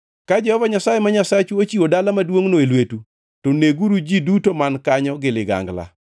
Ka Jehova Nyasaye ma Nyasachu ochiwo dala maduongʼno e lwetu, to neguru ji duto man kanyo gi ligangla.